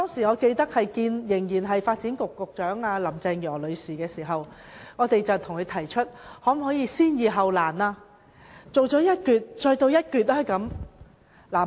我記得當時與仍然是發展局局長的林鄭月娥女士會面時，我們向她提出能否先易後難，先興建一段，再做下一段。